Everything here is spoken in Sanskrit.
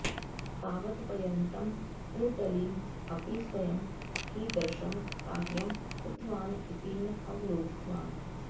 तावत् पर्यन्तम् ईदर्ली अपि स्वयम् कीदृशम् कार्यम् कृतवान् इति न अवलोकितवान्